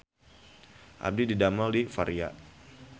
Abdi didamel di Varia